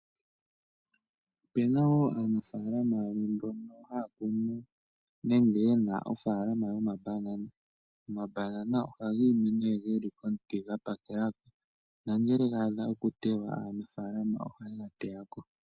Opena wo aanafalama yamwe mbono haya kunu nenge ye na ofaalama yomambanana. Omambanana ohaga imi nee ge li komuti ga pakela, na ngele ga dha okuteywa aanafalama ohaye ga teya ko.